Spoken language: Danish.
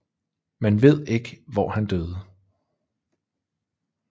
Man ved ikke hvor han døde